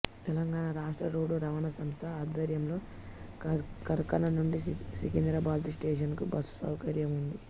తెలంగాణ రాష్ట్ర రోడ్డు రవాణా సంస్థ ఆధ్వర్యంలో కార్ఖాన నుండి సికింద్రాబాదు స్టేషనుకు బస్సు సౌకర్యం ఉంది